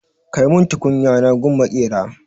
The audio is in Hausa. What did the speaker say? Kai mun tukunya na gun maƙera!